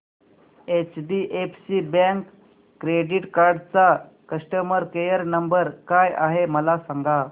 HDFC bank credit card चा customer care number काय आहे मला सांगा